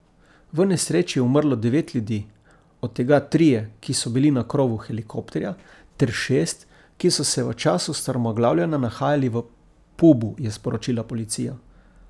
V nesreči je umrlo devet ljudi, od tega trije, ki so bili na krovu helikopterja, ter šest, ki so se v času strmoglavljenja nahajali v pubu, je sporočila policija.